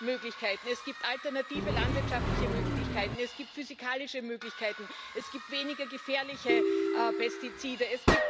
Es gibt Möglichkeiten Es gibt alternative landwirtschaftliche Möglichkeiten, es gibt physikalische Möglichkeiten, es gibt weniger gefährliche Pestizide